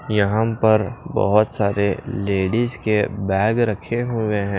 यहां पर बहुत सारे लेडीज के बैग रखे हुए हैं।